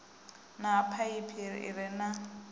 na phaiphi i re na